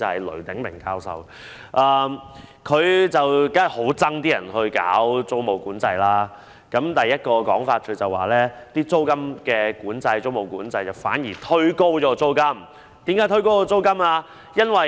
雷鼎鳴教授當然對實施租務管制的建議很反感，他提出的第一點原因是租務管制反而會推高租金。